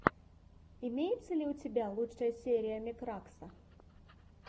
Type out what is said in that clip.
имеется ли у тебя лучшая серия мекракса